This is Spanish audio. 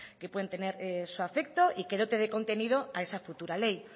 que pueden tener su afecto y que dote de contenido a esa futura ley